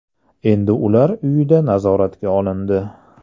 Endi ular uyida nazoratga olindi.